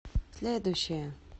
следующая